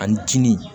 Ani tini